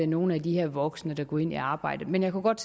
nogle af de her voksne der går ind i arbejdet men jeg kunne godt